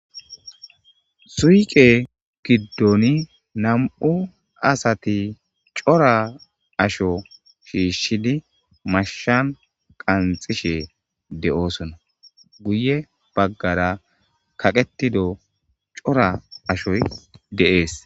suyqe giddoni nam7u asati cora asho shiishshidi mashshan qanxishe de7oosona guye baggara kaqetido cora ashoy de'es